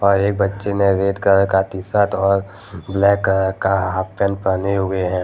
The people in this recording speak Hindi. और एक बच्चे ने रेड कलर का टी शर्ट और ब्लैक कलर का हाफ पैंट पहने हुए हैं।